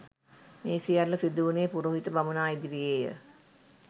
මේ සියල්ල සිදුවුණේ පුරෝහිත බමුණා, ඉදිරියේ ය.